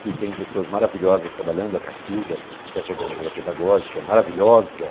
que tem pessoas maravilhosas trabalhando, a Cacilda, que é coordenadora pedagógica, maravilhosa.